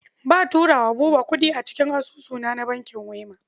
Ba turo wa Buba kuɗi cikin asusunsa na bankin Wema.